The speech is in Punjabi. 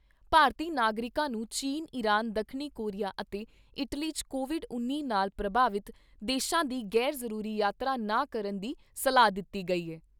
ਭਾਰਤੀ ਨਾਗਰਿਕਾਂ ਨੂੰ ਚੀਨ, ਇਰਾਨ, ਦੱਖਣੀ ਕੋਰੀਆ ਅਤੇ ਇਟਲੀ 'ਚ ਕੋਵਿਡ ਉੱਨੀ ਨਾਲ ਪ੍ਰਭਾਵਿਤ ਦੇਸ਼ਾਂ ਦੀ ਗ਼ੈਰ ਜ਼ਰੂਰੀ ਯਾਤਰਾ ਨਾ ਕਰਨ ਦੀ ਸਲਾਹ ਦਿੱਤੀ ਗਈ ਐ।